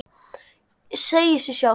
Segir sig sjálft.